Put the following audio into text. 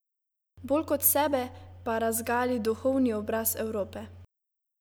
Bolj kot sebe pa razgali duhovni obraz Evrope.